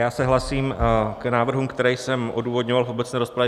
Já se hlásím k návrhům, které jsem odůvodňoval v obecné rozpravě.